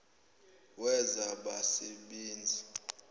wezabasebenzi